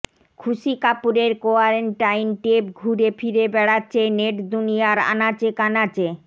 খুশি কাপুরের কোয়ারেন্টাইন টেপ ঘুরে ফিরে বেড়াচ্ছে নেটদুনিয়ার আনাচে কানাচে